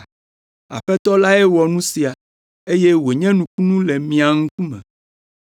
Aƒetɔ lae wɔ nu sia, eye wònye nukunu le mía ŋkume.’ ”